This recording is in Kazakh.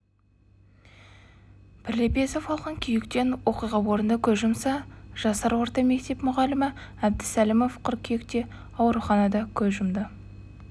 бірлепесов алған күйіктен оқиға орнында көз жұмса жасар орта мектеп мұғалімі әбдісәлімов қыркүйекте ауруханада көз